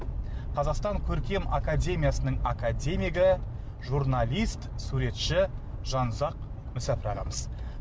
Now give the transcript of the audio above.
қазақстан көркем академиясының академигі журналист суретші жанұзақ мүсәпір ағамыз